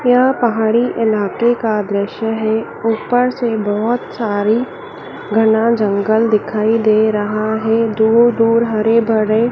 यह पहाड़ी इलाके का दृश्य है ऊपर से बहुत सारी घना जंगल दिखाई दे रहा है दूर दूर हरे भरे--